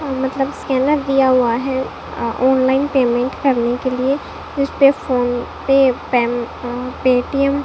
हा मतलब स्कैनर दिया हुआ हैं अ ऑनलाइन पेमेंट करने के लिए जिसपे फोन पे पैन अ पेटीएम --